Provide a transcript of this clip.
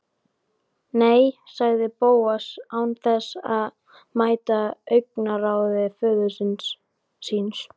Nei- sagði Bóas án þess að mæta augnaráði föður síns.